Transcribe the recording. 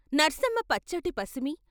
నర్సమ్మ పచ్చటి పసిమి.